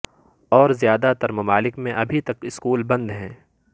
اور زیادہ تر ممالک میں ابھی تک اسکول بند ہیں